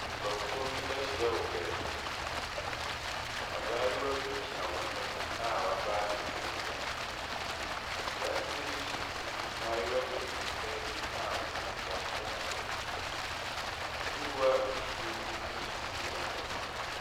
Nnipakuo hi ahyia wɔ baabi. Abaayewa bi gyina wɔn anim a w'abaa ne nsam. Aberanteɛ bi so te mmaayewa mmienu bi anim a ɔde ne nsa asɔ n'abɔdwe. Kuruwa a nsuo gum nso si wɔn anim.